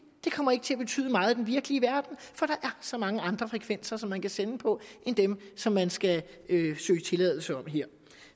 det kommer ikke til at betyde meget i den virkelige verden for der så mange andre frekvenser man kan sende på end dem som man skal søge tilladelse om